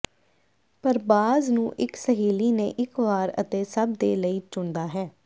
ਪਰ ਬਾਜ਼ ਨੂੰ ਇੱਕ ਸਹੇਲੀ ਨੇ ਇਕ ਵਾਰ ਅਤੇ ਸਭ ਦੇ ਲਈ ਚੁਣਦਾ ਹੈ